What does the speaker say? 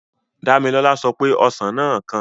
Dámilọ́lá sọ pé ọsàn náà kan